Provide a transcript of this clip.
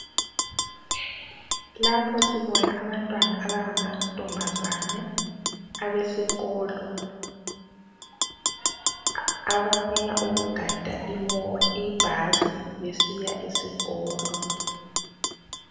Lapha sibona abantwana abanga mantombazane abesikolo abafuna ukugada ibhasi besiya esikolo.